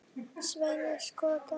Sveini skotta.